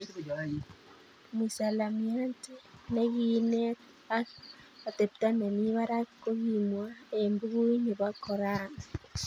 Mwisalamiante ne ki kineet ak atepto nemii barak ko kikimwa eng bukuit ne bo Qoran.